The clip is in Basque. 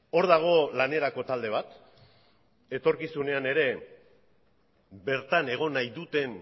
hor dago lanerako talde bat etorkizunean ere bertan egon nahi duten